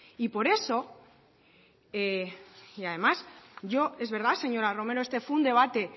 además es verdad señora romero este fue un debate